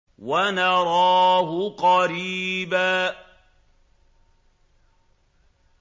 وَنَرَاهُ قَرِيبًا